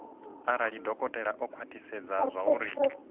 arali dokotela o khwathisedza zwauri